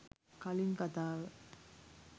කලින් කතාව